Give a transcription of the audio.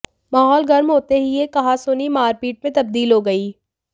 माहौल गर्म होते ही यह कहासुनी मारपीट में तबदील हो गई